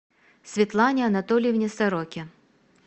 светлане анатольевне сороке